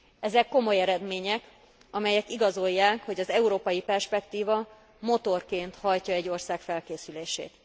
Ezek komoly eredmények, amelyek igazolják, hogy az európai perspektíva motorként hajtja egy ország felkészülését.